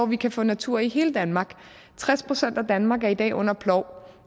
vi kan få natur i hele danmark tres procent af danmark er i dag under plov